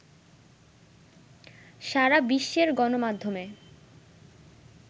সারা বিশ্বের গণমাধ্যমে